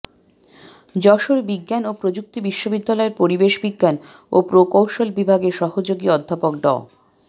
যশোর বিজ্ঞান ও প্রযুক্তি বিশ্ববিদ্যালয়ের পরিবেশ বিজ্ঞান ও প্রকৌশল বিভাগের সহযোগী অধ্যাপক ড